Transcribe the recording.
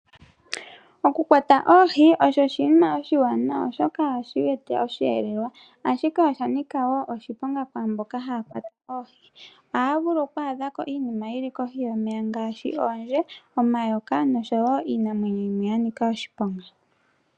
Oku kwata oohi osho oshinima oshiwanawa oshoka otashi eta oshi yelelwa. Ashike oshanika wo oshiponga kwaamboka haya kwata oohi. Ohaya vulu oku adhako iinima yi li kohi yomeya ngaashi oondje, omayoka noshowo iinamwenyo yimwe ya nika oshiponga.